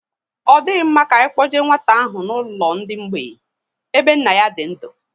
Ọ dịghị mma ka anyị kpoje nwata ahụ n'ụlọ ndị mgbei ebe nna ya dị ndu